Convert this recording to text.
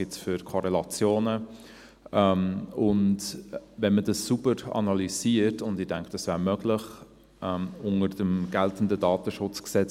Welche Korrelationen gibt es? – Und wenn man dies sauber analysiert … und ich denke, dies wäre unter dem geltenden KDSG möglich.